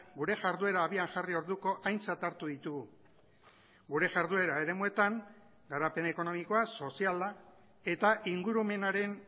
gure jarduera abian jarri orduko aintzat hartu ditugu gure jarduera eremuetan garapen ekonomikoa soziala eta ingurumenaren